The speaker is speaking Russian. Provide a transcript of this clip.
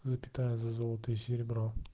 запятая за золото и серебро